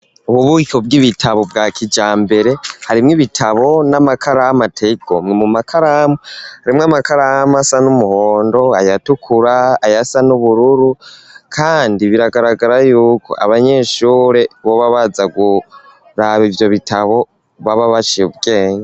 Ububiko bw'ibitabo bwa kijambere harimwo ibitabo n'amakaramu ateye igomwe mu makaramu harimwo amakaramu asa n'umuhondo aya tukura ayasa n'ubururu kandi biragaragara yuko abanyeshure boba baza kuraba ivyo bitabo baba baciye ubwenge.